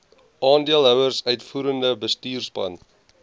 aandeelhouers uitvoerende bestuurspan